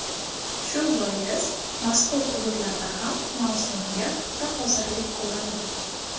Shu bois mazkur hududlarda ham mavsumga puxta hozirlik ko‘rildi.